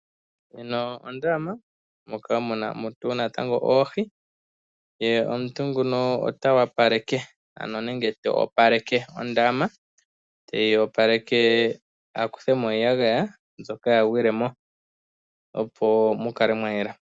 Ondama moka mu na oohi, opu na wo omuntu ngoka to opaleke ondaama nokukutha mo iiyagaya mbyoka ya gwila mo, opo mu kale mwa yela.